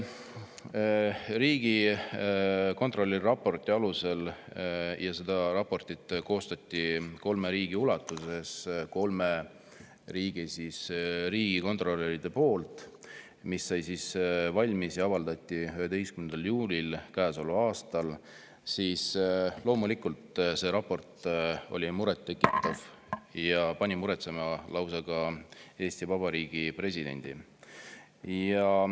Riigikontrolli viimane raport – see raport koostati kolme riigi kohta, selle tegid kolme riigi riigikontrolörid ning see sai valmis ja avaldati 11. juulil käesoleval aastal – oli muret tekitav ja pani muretsema ka lausa Eesti Vabariigi presidendi.